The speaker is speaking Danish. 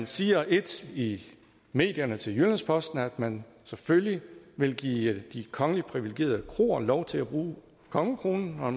siger ét i medierne til jyllands posten nemlig at man selvfølgelig vil give de kongelige privilegerede kroer lov til at bruge kongekronen og